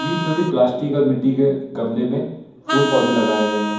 बीच में भी प्लास्टिक और मिट्टी के गमले में फूल पौधे लगाए गए हैं।